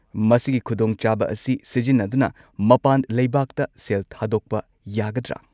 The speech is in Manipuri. ꯃꯁꯤꯒꯤ ꯈꯨꯗꯣꯡꯆꯥꯕ ꯑꯁꯤ ꯁꯤꯖꯤꯟꯅꯗꯨꯅ ꯃꯄꯥꯟ ꯂꯩꯕꯥꯛꯇ ꯁꯦꯜ ꯊꯥꯗꯣꯛꯄ ꯌꯥꯒꯗ꯭ꯔꯥ?